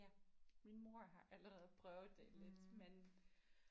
Ja min mor har allerede prøvet det lidt men